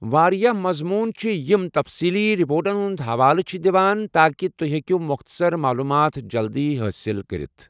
واریاہ مَضموٗن چھِ یِم تفصییلی رپورٹن ہُنٛد حَوالہٕ چھِ دِوان، تاکہِ تُہۍ ہیٚکِو مۄختَصَر معلوٗمات جلدِی حٲصِل کٔرتھ۔